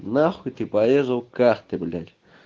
нахуй ты порезал карты блять